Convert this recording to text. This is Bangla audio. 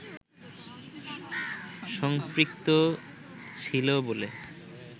সম্পৃক্ত ছিল বলে